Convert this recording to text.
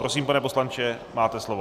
Prosím, pane poslanče, máte slovo.